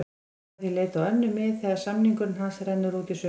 Hann mun því leita á önnur mið þegar samningur hans rennur út í sumar.